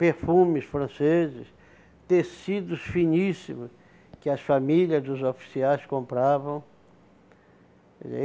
Perfumes franceses, tecidos finíssimo que as famílias dos oficiais compravam.